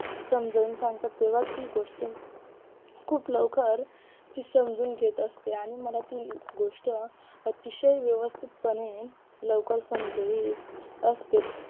समजवून सांगतात तेव्हा ती गोष्ट खूप लवकर ती समजून घेत असते आणि मला ती गोष्ट अतिशय व्यवस्थितपणे लवकर समजवीत असते